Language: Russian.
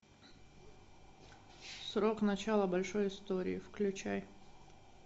срок начала большой истории включай